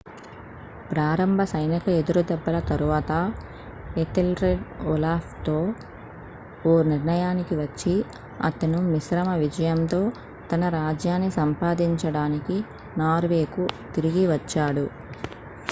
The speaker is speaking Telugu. ప్రారంభ సైనిక ఎదురుదెబ్బల తరువాత ఎథెల్రెడ్ ఓలాఫ్తో ఓ నిర్ణయానికి వచ్చి అతను మిశ్రమ విజయంతో తన రాజ్యాన్ని సంపాదించడానికి నార్వేకు తిరిగి వచ్చాడు